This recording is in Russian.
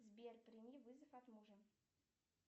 сбер прими вызов от мужа